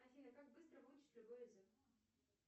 афина как быстро выучить любой язык